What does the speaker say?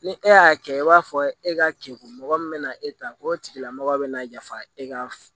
Ni e y'a kɛ i b'a fɔ e ka keku mɔgɔ min bɛna e ta ko tigila mɔgɔ bɛna yafa e ka